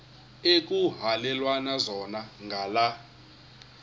ekuhhalelwana zona ngala